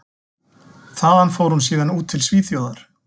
Þaðan fór hún síðan út til Svíþjóðar.